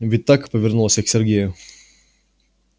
ведь так повернулась я к сергею